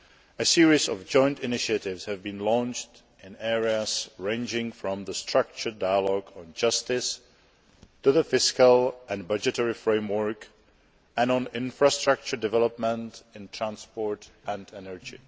A series of joint initiatives have been launched in areas ranging from the Structured Dialogue on Justice to the fiscal and budgetary framework and on infrastructure development in transport and energy.